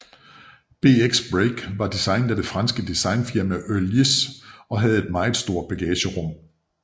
BX Break var designet af det franske designfirma Heuliez og havde et meget stort bagagerum